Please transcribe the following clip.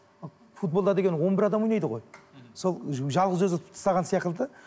футболда деген он бір адам ойнайды ғой сол жалғыз өзі ұтып тастаған